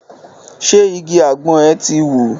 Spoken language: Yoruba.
Ṣé igi àgbọn ẹ̀ ti wù?